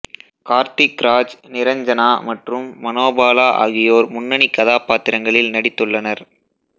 கார்த்திக் ராஜ் நிரஞ்சனா மற்றும் மனோபாலா ஆகியோர் முன்னணி கதாபாத்திரங்களில் நடித்துள்ளனர்